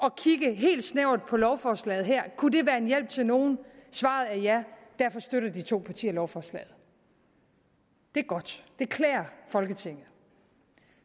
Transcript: at kigge helt snævert på lovforslaget her kunne det være en hjælp til nogen svaret er ja og derfor støtter de to partier lovforslaget det er godt det klæder folketinget